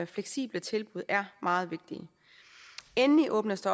fleksible tilbud er meget vigtige endelig åbnes